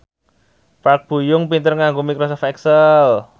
Park Bo Yung pinter nganggo microsoft excel